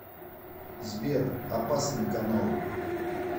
сбер опасный канал